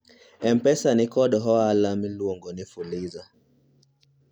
m-pesa nikod hola miluongo ni fuliza